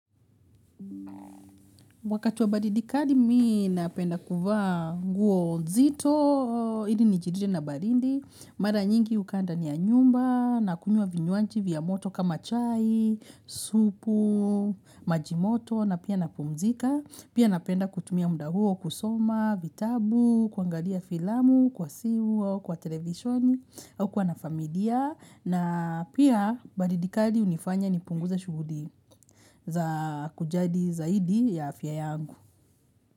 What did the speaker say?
Wakati wa baridikali mii napenda kuvaa nguo nzito, ili ni jiride na barindi, mara nyingi ukaa ndani anyumba, nakunywa vinywanji vya moto kama chai, supu, majimoto, na pia napumzika. Pia napenda kutumia muda huo, kusoma, vitabu, kuangalia filamu, kwa simu, au kwa televisioni, au kuwa na familia. Na pia, baridi kali hunifanya ni punguza shuguli za kujadi zaidi ya afya yangu.